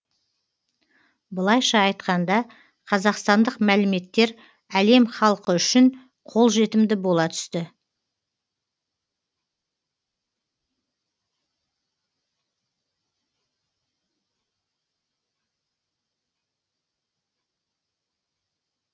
былайша айтқанда қазақстандық мәліметтер әлем халқы үшін қолжетімді бола түсті